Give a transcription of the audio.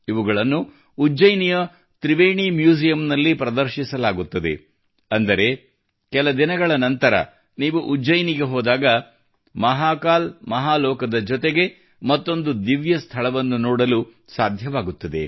ಇವುಗಳನ್ನು ಉಜ್ಜಯಿನಿಯ ತ್ರಿವೇಣಿ ಮ್ಯೂಸಿಯಂನಲ್ಲಿ ಪ್ರದರ್ಶಿಸಲಾಗುತ್ತದೆ ಅಂದರೆ ಕೆಲ ದಿನಗಳ ನಂತರ ನೀವು ಉಜ್ಜಯಿನಿಗೆ ಹೋದಾಗ ಮಹಾಕಾಲ್ ಮಹಾಲೋಕದ ಜೊತೆಗೆ ಮತ್ತೊಂದು ದಿವ್ಯ ಸ್ಥಳವನ್ನು ನೋಡಲು ಸಾಧ್ಯವಾಗುತ್ತದೆ